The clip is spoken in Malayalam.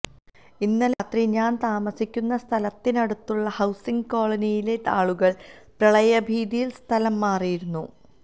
ഇന്നലെ രാത്രി ഞാന് താമസിക്കുന്ന സ്ഥലത്തിനടുത്ത ഹൌസിംഗ് കോളനിയിലെ ആളുകള് പ്രളയഭീതിയില് സ്ഥലം മാറിയിരുന്നു